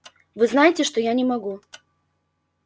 вы знаете что я не могу